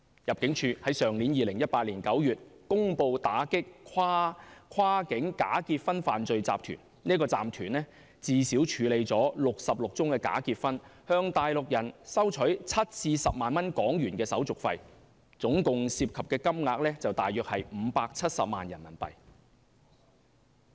入境事務處在2018年9月公布打擊跨境假結婚犯罪集團，該集團最少處理了66宗假結婚，向內地人收取7萬港元至10萬港元手續費，涉及的金額大約是570萬元人民幣。